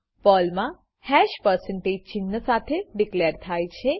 પર્લમા hash percentage ચિન્હ સાથે declare થાય છે